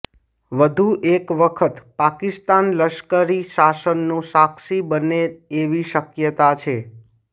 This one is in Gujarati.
વધુ એક વખત પાકિસ્તાન લશ્કરી શાસનનું સાક્ષી બને એવી શક્યતા છે